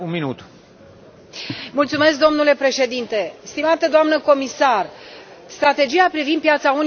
Domnule președinte, stimată doamnă comisar, strategia privind piața unică digitală este o necesitate.